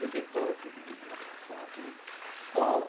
Eu tinha que falar o seguinte, abrir a porta, né?